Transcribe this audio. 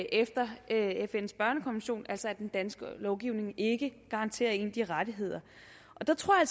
efter fns børnekonvention altså at den danske lovgivning ikke garanterer en de rettigheder der tror jeg